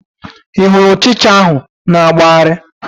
Ị hụrụ ụchịcha ahụ na-agbagharị?